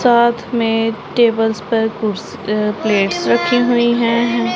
साथ में टेबल्स पर कुछ प्लेट्स रखी हुई है।